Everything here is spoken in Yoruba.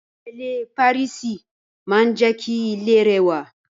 Ìrẹ́lé Pàríìsì maa n je ki ile rewa